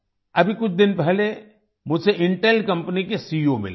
अभी कुछ दिन पहले मुझसे इंटेल कंपनी के सीईओ मिले थे